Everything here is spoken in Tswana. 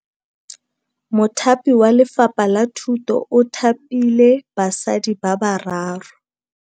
Mothapi wa Lefapha la Thutô o thapile basadi ba ba raro.